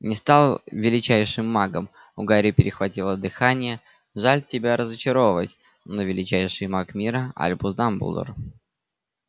не стал величайшим магом у гарри перехватило дыхание жаль тебя разочаровывать но величайший маг мира альбус дамблдор